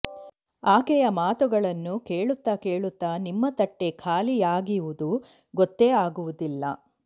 ಆಕೆಯ ಮಾತುಗಳನ್ನು ಕೇಳುತ್ತಾ ಕೇಳುತ್ತಾ ನಿಮ್ಮ ತಟ್ಟೆ ಖಾಲಿಯಾಗಿವುದು ಗೊತ್ತೆ ಆಗುವುದಿಲ್ಲ